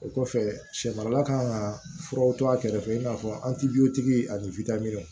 O kɔfɛ sɛ marala kan ka furaw to a kɛrɛfɛ i n'a fɔ an ti ani